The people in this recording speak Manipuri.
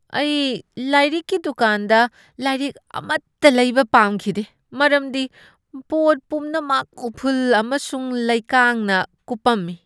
ꯑꯩ ꯂꯥꯏꯔꯤꯛꯀꯤ ꯗꯨꯀꯥꯟꯗ ꯂꯥꯏꯔꯤꯛ ꯑꯃꯠꯇ ꯂꯩꯕ ꯄꯥꯝꯈꯤꯗꯦ ꯃꯔꯝꯗꯤ ꯄꯣꯠ ꯄꯨꯝꯅꯃꯛ ꯎꯐꯨꯜ ꯑꯃꯁꯨꯡ ꯂꯩꯀꯥꯡꯅ ꯀꯨꯞꯄꯝꯃꯤ꯫